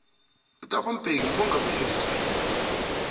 uthabo mbeki ngumongameli weibili